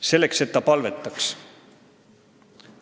– Selleks, et ta palvetaks.